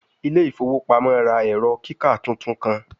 Ile ifowo pamo ra ẹrọ kika tuntun kan